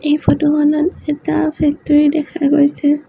এই ফটো খনত এটা ফেক্টৰী দেখা গৈছে।